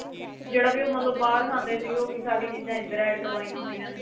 ਜਿਹੜਾ ਵੀ ਉਹ ਮਤਲਬ ਬਾਹਰ ਖਾਂਦੇ ਸੀਗੇ ਉਹੀ ਸਾਰੀ ਚੀਜ਼ਾ ਇੱਧਰ add ਕਰਵਾਈਆਂ ਹੋਈਆਂ ਨੇ